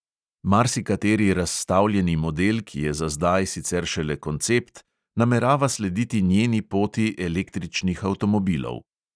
Marsikateri razstavljeni model, ki je za zdaj sicer šele koncept, namerava slediti njeni poti električnih avtomobilov.